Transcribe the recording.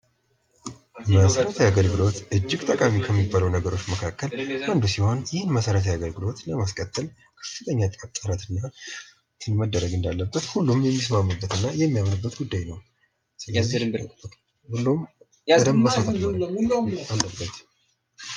መሠረታዊ አገልግሎት እጅግ ጠቃሚ ከሚባሉ ነገሮች መካከል አንዱ ሲሆን ይህን መሠረታዊ አገልግሎት ለማስቀጠል ከፍተኛ ጥረትና ሁሉም የሚስማማበት እና የሚያምንበት ጉዳይ ነው። እና ሁሉም መስራት አለበት።